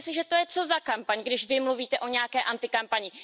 Myslíte si, že to je co za kampaň, když Vy mluvíte o nějaké antikampani?